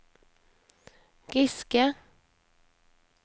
Giske